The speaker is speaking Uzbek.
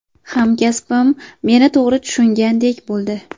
Hamkasbim meni to‘g‘ri tushungandek bo‘ldi.